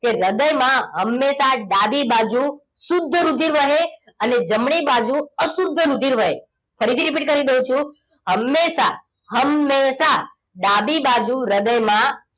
કે હૃદયમાં હંમેશા ડાબી બાજુ શુદ્ધ રુધિર વહે અને જમણી બાજુ અશુદ્ધ રુધિર વહે ફરીથી repeat કરી દઉં છું હંમેશા હંમેશા ડાબી બાજુ હૃદયમાં